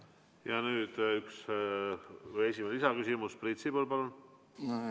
Nüüd esimene lisaküsimus, Priit Sibul, palun!